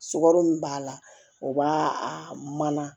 Sukaro min b'a la o b'a a mana